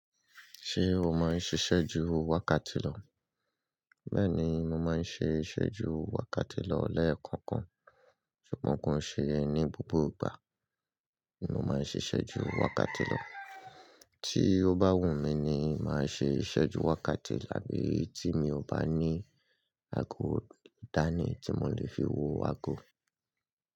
Ṣé o máa ń ṣiṣẹ́ ju wákàtí lọ? Bẹ́ẹ̀ni, mo máa ń ṣe ìṣẹ́ ju wákàtí lọ lẹ́ẹ̀kan kan, ṣùgbọ́n kò ṣe ni gbogbo ìgbà ni mo máa ń ṣiṣẹ́ ju wákàtí lọ. Tí ó bá wù mí ni màá ṣe ìṣẹ́ ju wákàtí abi tí mi ò bá ní àgọ dani tí mo lè fi wo àgọ.